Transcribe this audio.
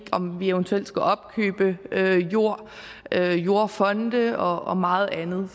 eventuelt skal opkøbe jord jordfonde og og meget andet